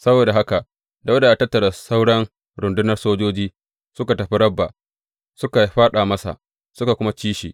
Saboda haka Dawuda ya tattara sauran rundunar sojojin suka tafi Rabba suka fāɗa masa suka kuma ci shi.